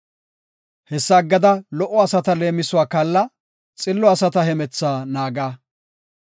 Hessa aggada, lo77o asata leemisuwa kaalla; xillo asata hemethaa naaga.